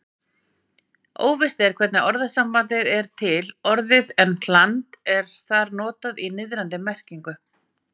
Óvíst er hvernig orðasambandið er til orðið en hland er þarna notað í niðrandi merkingu.